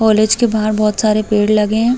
College के बाहर बोहोत सारे पेड़ लगे हैं।